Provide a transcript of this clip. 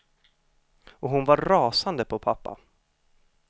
Och hon var rasande på pappa.